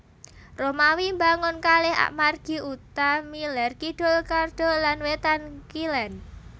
Romawi mbangun kalih margi utami lèr kidul Cardo lan wétan kilèn